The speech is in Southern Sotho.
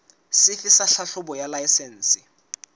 sefe sa tlhahlobo ya laesense